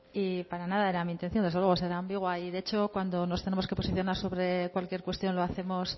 y para nada era mi intención desde luego ser ambigua y de hecho cuando nos tenemos que posicionar sobre cualquier cuestión lo hacemos